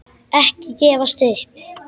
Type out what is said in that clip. Ekki gefast upp!